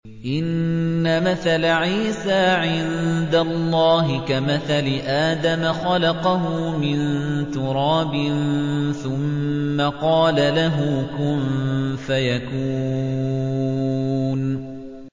إِنَّ مَثَلَ عِيسَىٰ عِندَ اللَّهِ كَمَثَلِ آدَمَ ۖ خَلَقَهُ مِن تُرَابٍ ثُمَّ قَالَ لَهُ كُن فَيَكُونُ